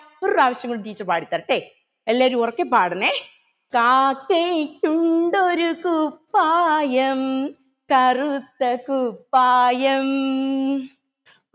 ഒരു പ്രാവിശ്യം കൂടി teacher പാടിതരട്ടെ എല്ലാവരും ഉറക്കെ പാടണെ കാക്കയ്ക്കുണ്ടൊരു കുപ്പായം കറുത്ത കുപ്പായം